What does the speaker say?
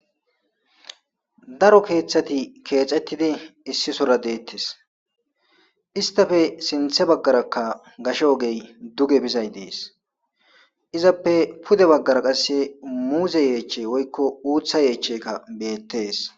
daro keeththati keecettidi issi sora deettes istafe sinthe baggaraka gasho ogey duge bizay dees izappe pude baggara qasse muuze yeechey woykko uutha yeechcheka beettees